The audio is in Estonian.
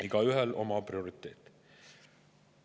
Igaühel oma prioriteet.